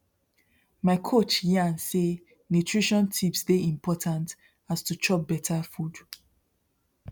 my coach yarn say nutrition tips dey important as to chop better food